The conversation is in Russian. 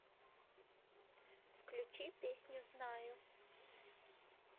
включи песню знаю